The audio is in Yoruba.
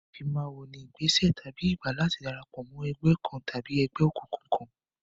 Ìfimáwo ni ìgbésẹ̀ tàbí ìgbà láti darapọ̀ mọ́ ẹgbẹ́ kan tàbí ẹgbẹ́ òkùnkùn kan.